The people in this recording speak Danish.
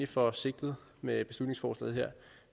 for sigtet med beslutningsforslaget her